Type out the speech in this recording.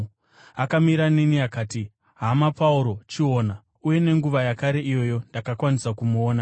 Akamira neni akati, ‘Hama Pauro, chiona!’ uye nenguva yakare iyoyo ndakakwanisa kumuona.